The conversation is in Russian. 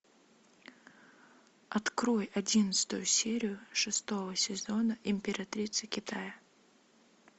открой одиннадцатую серию шестого сезона императрица китая